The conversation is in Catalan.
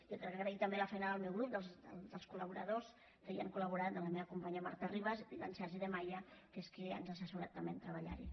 i agrair també la feina del meu grup dels colhi han col·laborat de la meva companya marta ribas i d’en sergi de maya que és qui ens ha assessorat també en treballarhi